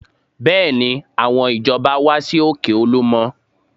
Bẹ́ẹ̀ni, àwọn ìjọba wá sí òkè Olúmọ